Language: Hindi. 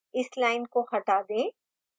इस line को हटा दें